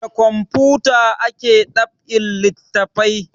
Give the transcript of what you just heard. Da kamfuta ake dab'in littafai